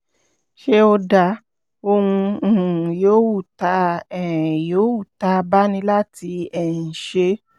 ṣé ó dáa? ohun um yòówù tá um yòówù tá a bá ní láti um ṣe